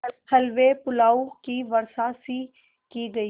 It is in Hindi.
हलवेपुलाव की वर्षासी की गयी